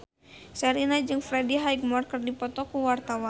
Sherina jeung Freddie Highmore keur dipoto ku wartawan